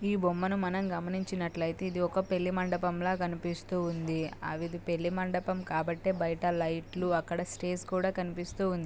ఈ బొమ్మని మనం గమనించి నట్టు అయితే ఇది ఒక పెళ్లి మండపం లాగా కనిపిస్తుంది. ఇది పెళ్లి మండపం కాబట్టి అక్కడ--